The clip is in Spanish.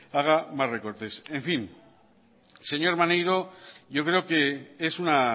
haga más recortes en fin señor maneiro yo creo que es una